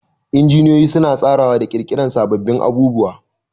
Injiniyoyi suna tsarawa da ƙirƙirar sababbin abubuwa